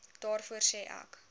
daarvoor sê ek